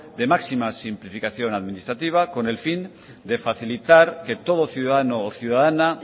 de máxima simplificación administrativa con el fin de facilitar que todo ciudadano o ciudadana